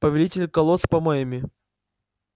повелитель колод с помоями